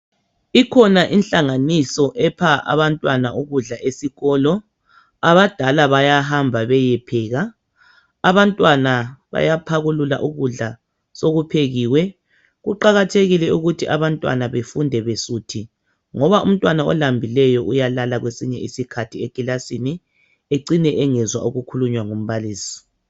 Ikhona inhlanganiso enika abantwana ukudla abadala bayahamba beyepheka abantwana bayaphakulula ukudla sokuphekiwe kuqakathekile ukuthi abantwana befunde besuthi ngoba umntwana olambileyo uyalala kwesinye isikhathi eclassini ecine engezwa okukhuluywa ngumbalisi